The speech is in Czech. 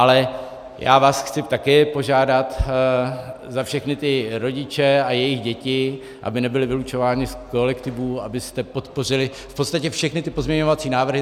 Ale já vás chci také požádat za všechny ty rodiče a jejich děti, aby nebyly vylučovány z kolektivů, abyste podpořili v podstatě všechny ty pozměňovací návrhy.